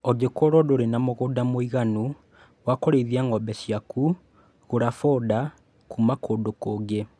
Angĩkorwo ndũrĩ na mũgũnda mũiganu wa kũrĩithia ng'ombe ciakũ gũra foda kuma kũndũ kũngĩ